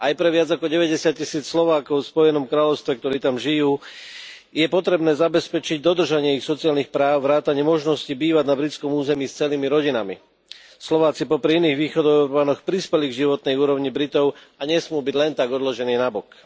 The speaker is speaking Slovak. Aj pre viac ako deväťdesiattisíc Slovákov v Spojenom kráľovstve, ktorí tam žijú, je potrebné zabezpečiť dodržanie ich sociálnych práv vrátane možnosti bývať na britskom území s celými rodinami. Slováci popri iných Východoeurópanoch prispeli k životnej úrovni Britov a nesmú byť len tak odložení nabok.